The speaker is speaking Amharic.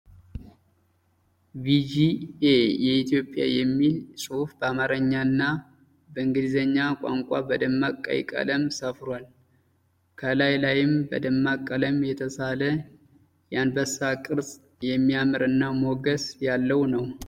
ቢጂአይ ኢትዮጵያ የሚል ጽሁፍ በአማረኛ እና በእንግሊዘኛ ቋንቋ በደማቅ ቀይ ቀለም ሰፍሯል። ከላይ ላይም በደማቅ ቀለም የተሳለ የአንበሳ ቅርጽ የሚያምር እና ሞገስ ያለው ነው።